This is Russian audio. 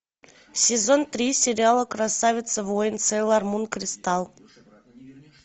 сезон три сериала красавица воин сейлор мун кристал